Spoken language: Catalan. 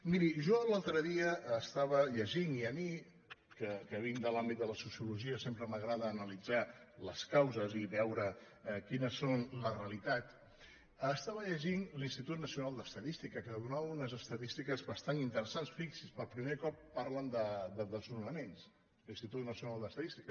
miri jo l’altre dia estava llegint i a mi que vinc de l’àmbit de la sociologia sempre m’agrada analitzar les causes i veure quines són les realitats l’institut nacio·nal d’estadística que donava unes estadístiques bas·tant interessants fixi’s per primer cop parlen de des·nonaments l’institut nacional d’estadística